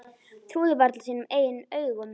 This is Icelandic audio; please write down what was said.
Trúði varla sínum eigin augum.